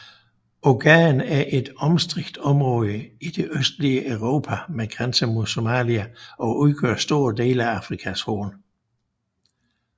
Ogaden er et omstridt område i det østlige Etiopien med grænser mod Somalia og udgør store dele af Afrikas Horn